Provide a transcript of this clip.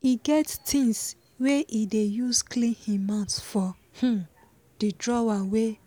he get things wey he dey use clean him mouth for um the drawer wey